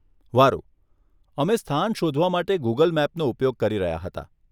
વારુ, અમે સ્થાન શોધવા માટે ગૂગલ મેપનો ઉપયોગ કરી રહ્યા હતા.